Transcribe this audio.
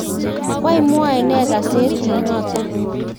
wany mwoe nee kasetit noton?